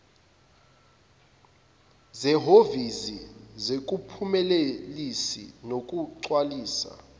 zehhovisi zokuphumelelisa nokugcwalisa